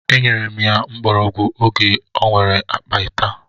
E nyere m ya mgbọrọgwụ oge o nwere akpata.